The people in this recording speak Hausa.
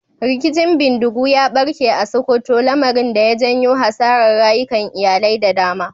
Rikicin bindigu ya barke a Sokoto, lamarin da ya janyo hasarar rayukan iyalai da dama.